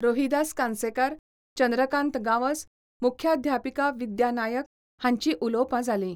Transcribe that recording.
रोहिदास कानसेकार, चंद्रकांत गांवस, मुख्याध्यापिका विद्या नायक हांचींय उलोवपां जालीं.